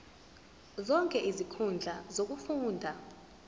zonke izinkundla zokufunda